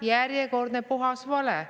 Ei lähe, järjekordne puhas vale.